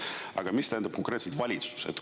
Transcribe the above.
Aga mis tähendab konkreetselt "valitsus"?